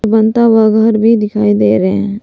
बनाता हुआ घर भी दिखाई दे रहे हैं।